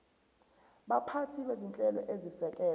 baphathi bezinhlelo ezisekela